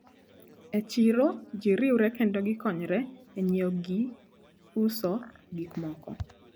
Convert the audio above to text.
E chiro jiriwre kendo gikonyre e nyiewo gi uso gikmoko.